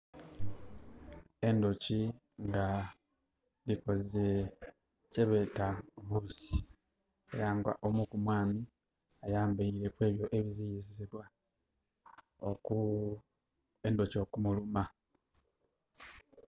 Endhoki dhikoze kyebeeta bokisi, eyamba omu ku mwami ayambaile ebyo ebiziyizibwa endhoki okumuluma.